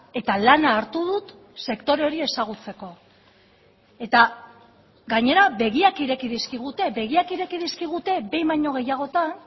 eta lana hartu dut sektore hori ezagutzeko eta gainera begiak ireki dizkigute begiak ireki dizkigute behin baino gehiagotan